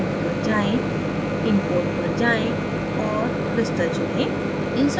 file menu पर जाएँ import पर जाएँ और crystal चुनें